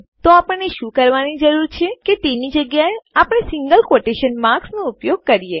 તો આપણે શું કરવાની જરૂર છે કે તેની જગ્યાએ આપણા સિંગલ ક્વોટેશન માર્ક્સનો ઉપયોગ કરીએ